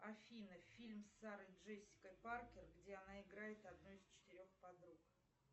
афина фильм с сарой джессикой паркер где она играет одну из четырех подруг